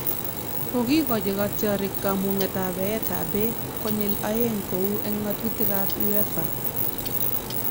Kokikochi katyarik kamun'et ab eet ab beek konyil aeng' kou en ng'atutik ab Uefa